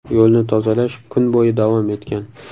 Yo‘lni tozalash kun bo‘yi davom etgan.